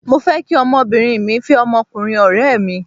Mo fẹ́ kí ọmọbìnrin mí fẹ́ ọmọkùnrin ọ̀rẹ́ mi.